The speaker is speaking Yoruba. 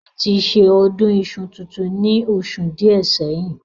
Wọ́n ti ṣe Ọdún iṣu tuntun ní oṣù díẹ̀ sẹ́yìn